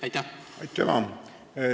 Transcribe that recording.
Aitüma!